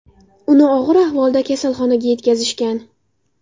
Uni og‘ir ahvolda kasalxonaga yetkazishgan.